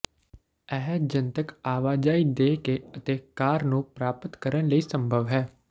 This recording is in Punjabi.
ਇਹ ਜਨਤਕ ਆਵਾਜਾਈ ਦੇ ਕੇ ਅਤੇ ਕਾਰ ਨੂੰ ਪ੍ਰਾਪਤ ਕਰਨ ਲਈ ਸੰਭਵ ਹੈ